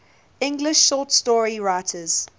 english short story writers